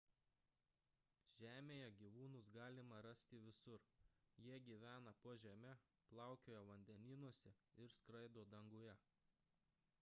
žemėje gyvūnus galima rasti visur jie gyvena po žeme plaukioja vandenynuose ir skraido danguje